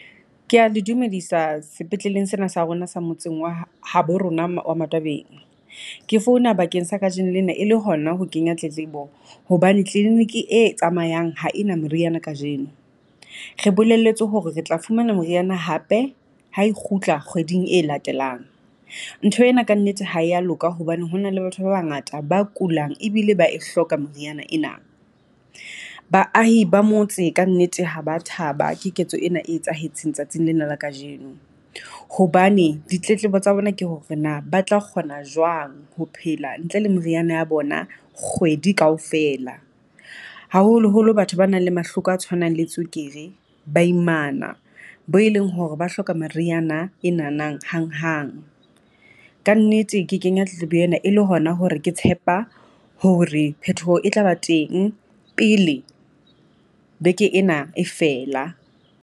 Kea le dumedisa sepetleleng sena sa rona sa motseng wa ha bo rona wa matwabeng. Ke founa bakeng sa kajeno lena e le hona ho kenya tletlebo hobane clinic e tsamayang ha ena meriana kajeno, re bolelletswe hore re tla fumana moriana hape ha e kgutla kgweding e latelang. Ntho ena kannete ha ya loka hobane ho na le batho ba bangata ba kulang ebile ba e hloka moriana ena. Baahi ba motse kannete ha ba thaba ke ketso ena e etsahetseng tsatsing lena la kajeno. Hobane ditletlebo tsa bona ke hore na ba tla kgona jwang ho phela ntle le moriana ya bona kgwedi Kaofela, haholoholo batho ba nang le mahloko a tshwanang le tswekere, baimana bo e leng hore ba hloka meriana e nanang hanghang. Kannete ke kenya tletlebo ena e le hona hore ke tshepa hore phetoho e tla ba teng pele beke ena e fela.